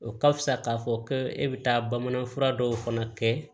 O ka fisa k'a fɔ ko e bɛ taa bamanan fura dɔw fana kɛ